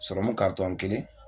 Sɔrɔmu kelen.